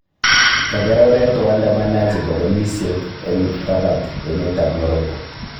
Kaker oret waandamanaji bokolisyek eng Rabat, emet ab Morocco